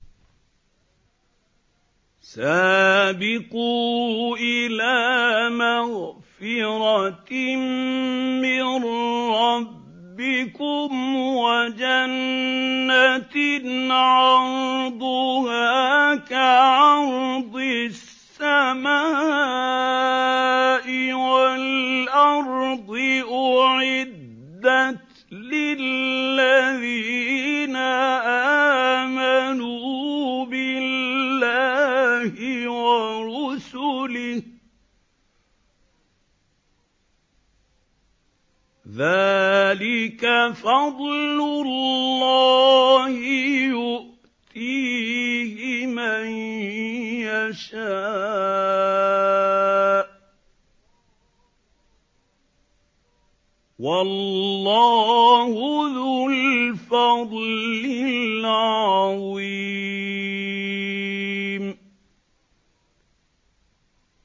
سَابِقُوا إِلَىٰ مَغْفِرَةٍ مِّن رَّبِّكُمْ وَجَنَّةٍ عَرْضُهَا كَعَرْضِ السَّمَاءِ وَالْأَرْضِ أُعِدَّتْ لِلَّذِينَ آمَنُوا بِاللَّهِ وَرُسُلِهِ ۚ ذَٰلِكَ فَضْلُ اللَّهِ يُؤْتِيهِ مَن يَشَاءُ ۚ وَاللَّهُ ذُو الْفَضْلِ الْعَظِيمِ